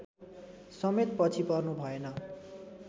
समेत पछि पर्नु भएन